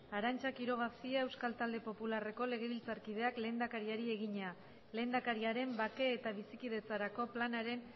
arantza quiroga cia euskal talde popularreko legebiltzarkideak lehendakariari egina lehendakariaren bake eta bizikidetzarako planaren